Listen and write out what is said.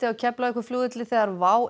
á Keflavíkurflugvelli þegar WOW